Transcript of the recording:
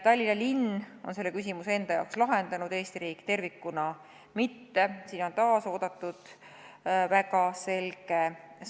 Tallinna linn on sellele küsimusele vastanud, Eesti riik tervikuna mitte ja siin on taas selge sõnum väga oodatud.